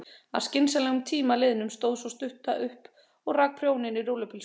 Að skynsamlegum tíma liðnum stóð sú stutta upp og rak prjón í rúllupylsuna.